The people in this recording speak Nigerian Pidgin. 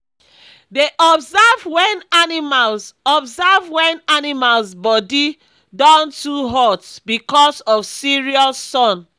dey observe wen animals observe wen animals body don too hot because of serious sun